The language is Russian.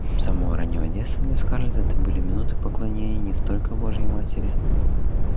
с самого раннего детства для скарлетт это были минуты поклонения не столько божьей матери